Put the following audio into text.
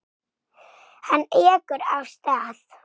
Hann ekur af stað.